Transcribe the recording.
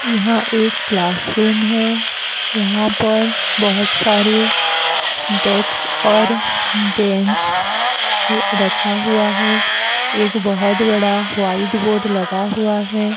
यहाँ एक क्लासरूम है यहाँ पर बहुत सारे डेक्स और बेंच र रखा हुआ है एक बहुत बड़ा वाइट बोर्ड लगा हुआ है।